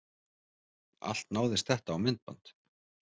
Allt náðist þetta á myndband